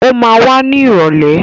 Ó ma wá ní ìrọ̀lẹ́.